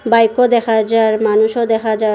বাইকও দেখা যার মানুষও দেখা যায়।